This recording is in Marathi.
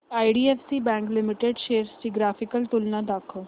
आयडीएफसी बँक लिमिटेड शेअर्स ची ग्राफिकल तुलना दाखव